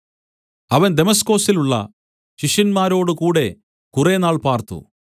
അവൻ ദമസ്കൊസിലുള്ള ശിഷ്യന്മാരോട് കൂടെ കുറേനാൾ പാർത്തു